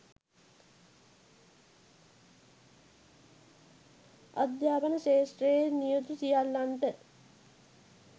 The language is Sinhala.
අධ්‍යාපන ක්ෂේත්‍රයේ නියුතු සියල්ලන්ට